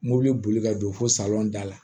Mobili boli ka don fo salon da la